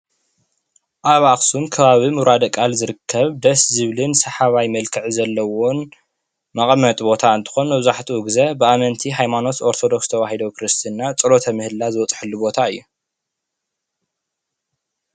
ኣብ ኣክሱም ከባቢ ሙራደቃል ዝርከብ ደስ ዝብልን ሳሓባየ መልክዕ ዘሎዎን መቀመጢ ቦታ እንትኮን መብዛሕቱኡ ግዜ ብአመንቲ ሃይማኖት ኦርቶዶክስ ተዋህዶ ክርስተና ፆሎተ ምህለላ ዝበፅሓሉ ቦታ እዩ ።